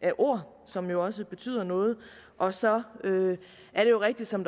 af ord som jo også betyder noget og så er det rigtigt som